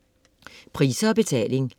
Priser og betaling